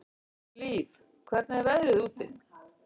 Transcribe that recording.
Líf, hvernig er veðrið úti?